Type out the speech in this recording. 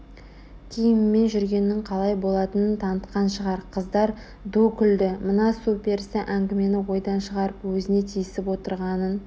киіммен жүргеннің қалай болатынын танытқан шығар Қыздар ду күлді мына су перісі әңгімені ойдан шығарып өзіне тиісіп отырғанын